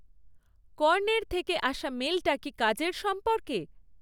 কর্ণের থেকে আসা মেলটা কি কাজের সম্পর্কে?